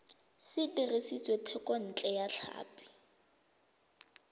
se dirisitswe thekontle ya tlhapi